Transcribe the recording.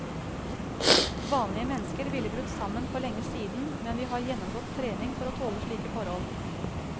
Vanlige mennesker ville brutt sammen for lenge siden, men vi har gjennomgått trening for å tåle slike forhold.